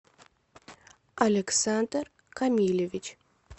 александр камилевич